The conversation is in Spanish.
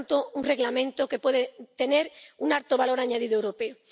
Por lo tanto, es un Reglamento que puede tener un alto valor añadido europeo.